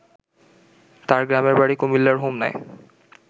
তার গ্রামের বাড়ি কুমিল্লার হোমনায়